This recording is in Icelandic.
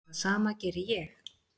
Það sama geri ég.